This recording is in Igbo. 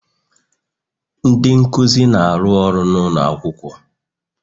Ndị nkuzi na-arụ ọrụ n'ụlọ akwụkwọ